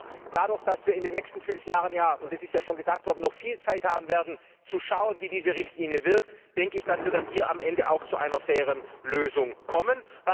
Aber dadurch, dass wir in den nächsten fünf Jahren ja das ist schon gesagt worden noch viel Zeit haben werden, zu schauen, wie diese Richtlinie wirkt, denke ich, dass wir dann am Ende auch zu einer fairen Lösung kommen.